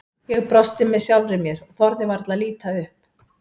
Ég brosti með sjálfri mér og þorði varla að líta upp.